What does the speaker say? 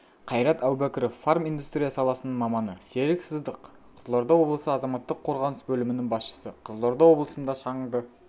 қайрат әубәкіров фарминдустрия саласының маманы серік сыздық қызылорда облысы азаматтық қорғаныс бөлімінің басшысы қызылорда облысында шаңды